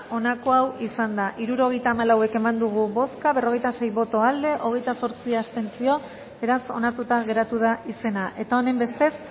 onako izan da hirurogeita hamalau eman dugu bozka berrogeita sei boto aldekoa hogeita zortzi abstentzio beraz onartuta geratu da izena eta honenbestez